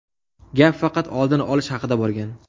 Gap faqat oldini olish haqida borgan.